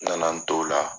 N nana n t'o la